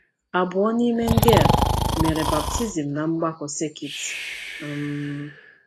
Abụọ n’ime ndị e mere baptizim na mgbakọ sekit um